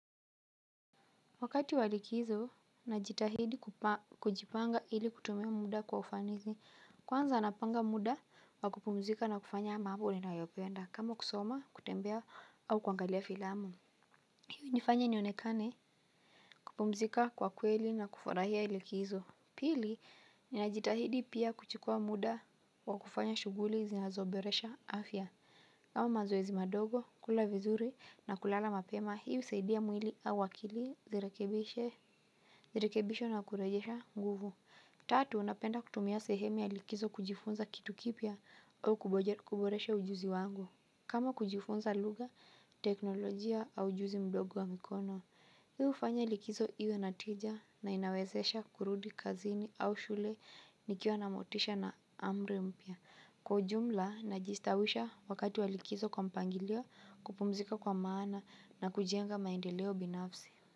Wakati walikizo, najitahidi kujipanga ili kutumia muda kwa ufanizi, kwanza napanga muda wa kupumzika na kufanya mambo ninayo yapenda, kama kusoma, kutembea, au kuangalia filamu. Hili nifanya nionekane kupumzika kwa kweli na kufurahia likizo. Pili, najitahidi pia kuchukua muda wa kufanya shughuli zinazo boresha afya. Kama mazoezi madogo, kula vizuri na kulala mapema, hii usayidia mwili au akili zirekebishe. Zirekebishe na kurejesha nguvu. Tatu napenda kutumia sehemi ya likizo kujifunza kitu kipya au kuboresha ujuzi wangu. Kama kujifunza lugha, teknolojia au ujuzi mdogo wa mikono. Hii ufanya likizo iwe natija na inawezesha kurudi kazini au shule nikiwa na motisha na amri mpya. Kwa ujumla na jistawisha wakati wa likizo kwa mpangilio kupumzika kwa maana na kujenga maendeleo binafsi.